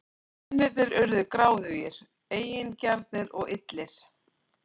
Mennirnir urðu gráðugir, eigingjarnir og illir.